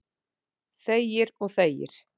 Þegir og þegir.